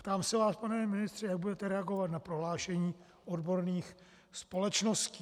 Ptám se vás, pane ministře, jak budete reagovat na prohlášení odborných společností.